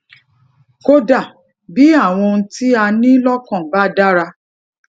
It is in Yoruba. kódà bí àwọn ohun tí a ní lọkàn bá dára